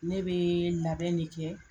Ne bɛ labɛn de kɛ.